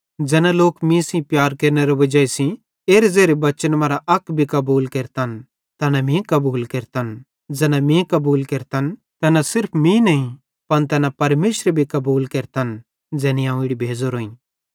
ज़ैना लोक मीं सेइं प्यार केरनेरे वजाई सेइं एरे ज़ेरे बच्चन मरां अक भी कबूल केरतन तैना मीं कबूल केरतन ज़ैना मीं कबूल केरतन तैना सिर्फ मीं नईं पन तैना परमेशरे भी कबूल केरतन ज़ैनी अवं इड़ी भेज़ोरोईं